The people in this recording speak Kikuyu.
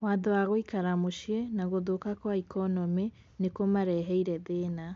"Watho wa gũikara mũcii na guthuka kwa ikonomi nikũmareheire thĩna .